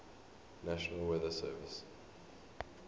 national weather service